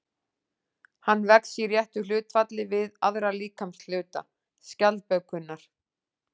Hann vex í réttu hlutfalli við aðra líkamshluta skjaldbökunnar.